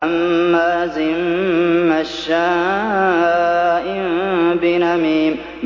هَمَّازٍ مَّشَّاءٍ بِنَمِيمٍ